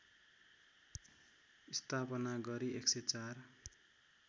स्थापना गरी १०४